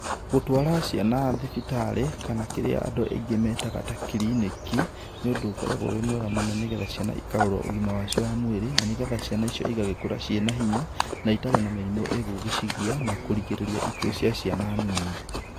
Gũtwara ciana thibitarĩ kana kĩrĩa andũ aingĩ metaga ta kiriniki, nĩũndũ ũkoragwo wĩ mwega mũno nĩgetha ciana ikarororwo ũgima wacio wa mwĩrĩ nĩgetha ciana icio igagĩkũra ciĩna hinya na itarĩ na mĩrimũ ĩgũgĩcigia na kũgirĩrĩria ikuũ cia ciana nini.